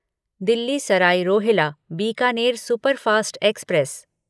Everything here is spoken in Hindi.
Delhi Sarai Rohilla Bikaner superfast express